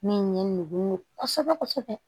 Min ye nugu kosɛbɛ kosɛbɛ